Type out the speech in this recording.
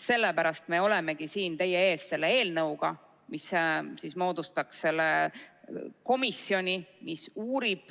Sellepärast me olemegi siin teie ees selle eelnõuga, mille alusel moodustataks komisjon, mis uurib